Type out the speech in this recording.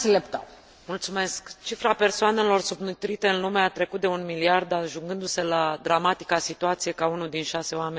Cifra persoanelor subnutrite în lume a trecut de un miliard, ajungându se la dramatica situație ca unul din șase oameni să sufere de foame.